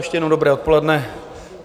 Ještě jednou dobré odpoledne.